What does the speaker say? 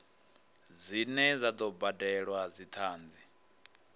dzine dza do badelwa dzithanzi